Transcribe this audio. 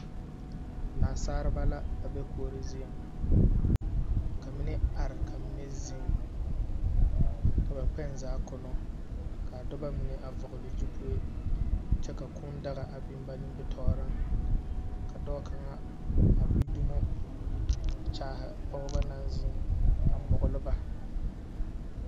Naasareba la a be kuori zieŋ, ka mine are ka smine zeŋ, ka ba kpɛŋ zaa kono, ka a dɔbɔ mine a vɔgle zupue, kyɛ ka kũũ daga a biŋ ba nimbitɔɔreŋ kyɛ ka dɔɔ kaŋa a gbi zumo kyaahe pɔgeba naŋ zeŋ a mɔglɔ ba.